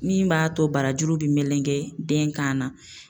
Min b'a to barajuru bi melegen den kan na